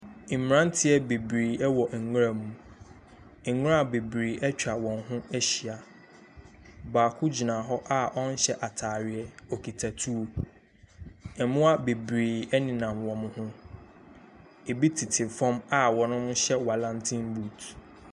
Mberantiɛ bebree ɛwɔ nwura mu. Nwura bebree etwa wɔn ho ehyia, baako gyina hɔ a ɔnhyɛ ataareɛ okita tuo. Mbowa bebree ɛnenam wɔmo ho, ebi tete fɔm a wɔnom hyɛ walɛntenbut.